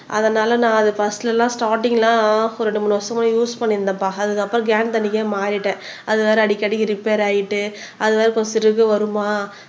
அதனால நான் அத ஃபர்ஸ்ட்ல எல்லாம் ஸ்டார்டிங் எல்லாம் ஒரு ரெண்டு மூணு வருஷமா யூஸ் பண்ணிட்டு இருந்தேன்ப்பா அதுக்கப்புறம் கேன் தண்ணிக்கே மாறிட்டேன் அது வேற அடிக்கடிக்கு ரிப்பேர் ஆயிட்டு அது வேற கொசுறு வருமா